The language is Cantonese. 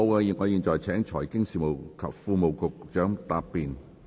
如果沒有，我現在請財經事務及庫務局局長答辯。